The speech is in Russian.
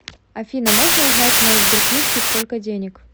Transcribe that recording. афина можно узнать в моей сберкнижке сколько денег